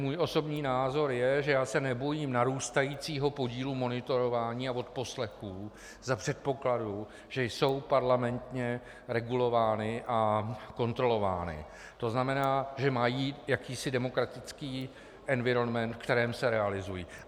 Můj osobní názor je, že já se nebojím narůstajícího podílu monitorování a odposlechů za předpokladu, že jsou parlamentně regulovány a kontrolovány, to znamená, že mají jakýsi demokratický environment, v kterém se realizují.